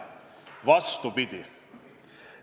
Vastupidi!